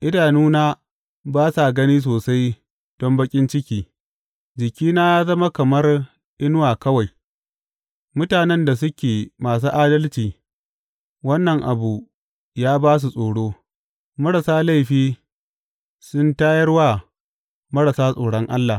Idanuna ba sa gani sosai don baƙin ciki; jikina ya zama kamar inuwa kawai Mutanen da suke masu adalci wannan abu ya ba su tsoro; marasa laifi sun tayar wa marasa tsoron Allah.